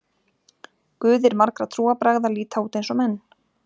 Guðir margra trúarbragða líta út eins og menn.